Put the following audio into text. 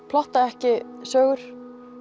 plotta ekki sögur